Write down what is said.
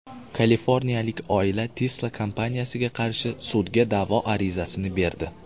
Kaliforniyalik oila Tesla kompaniyasiga qarshi sudga da’vo arizasini berdi.